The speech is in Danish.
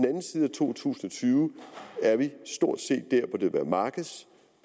to tusind og tyve er vi stort